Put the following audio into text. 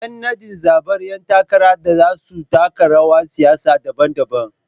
Yan nadin na zabar ‘yan takarar da za su taka rawar siyasa daban-daban.